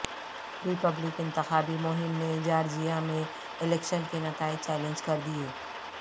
ری پبلکن انتخابی مہم نے جارجیا میں الیکشن کے نتائج چیلنج کر دیے